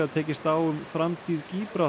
tekist á um framtíð